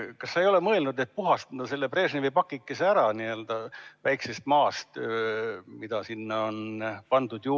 Kas sa ei ole mõelnud, et puhastada Brežnevi pakike "Väikesest maast", mis sinna on juurde pandud?